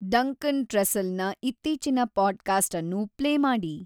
Duncan ಟ್ರಸ್ಸೆಲ್‌ನ ಇತ್ತೀಚಿನ podcast ಅನ್ನು ಪ್ಲೇ ಮಾಡಿ